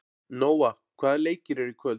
Nóa, hvaða leikir eru í kvöld?